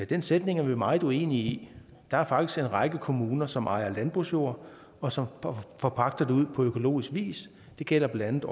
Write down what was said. den sætning er vi meget uenige i der er faktisk en række kommuner som ejer landbrugsjord og som forpagter den ud på økologisk vis det gælder blandt